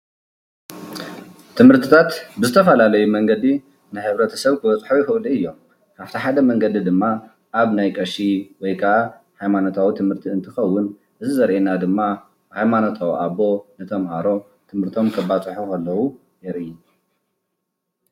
ትምርትታት ብዝተፈላለየ መንገዲ ንሕብረተሰብ ክበፅሖ ይኽእሉ እዮም። ካብቲ ሓደ መንገዲ ደማ ኣብ ናይ ቀሺ ወይ ከዓ ሃየማኖታዊ ትምህርቲ እንትኸውን እዚ ዘሪአና ድማ ሃይማኖታዊ ኣቦ ንተምሃሮ ትምህርቶም ከባፅሑ ከለዉ የርኢ።